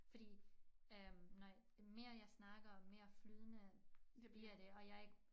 Fordi øh når mere jeg snakker og mere flydende bliver det og jeg ikke